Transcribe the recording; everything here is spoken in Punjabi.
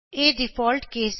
ਇਹ ਡਿਫਾਲਟ ਕੇਸ ਹੈ